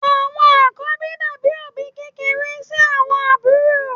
Àwọn àkọ́bí dàbí òbí kékeré sí àwọn àbúrò.